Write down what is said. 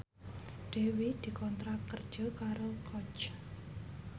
Dewi dikontrak kerja karo Coach